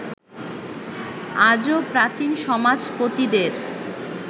আজও প্রাচীন সমাজপতিদের